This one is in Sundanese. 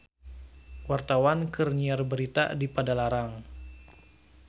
Wartawan keur nyiar berita di Padalarang